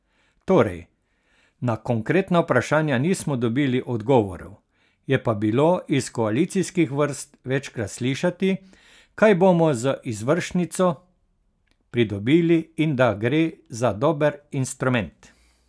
Torej, na konkretna vprašanja nismo dobili odgovorov, je pa bilo iz koalicijskih vrst večkrat slišati, kaj bomo z izvršnico pridobili in da gre za dober instrument.